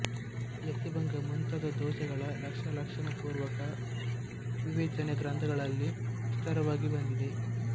ಯತಿಭಂಗ ಮುಂತಾದ ದೋಷಗಳ ಲಕ್ಷ್ಯಲಕ್ಷಣಪುರ್ವಕ ವಿವೇಚನೆ ಗ್ರಂಥಗಳಲ್ಲಿ ವಿಸ್ತಾರವಾಗಿ ಬಂದಿದೆ